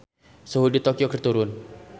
Suhu di Tokyo keur turun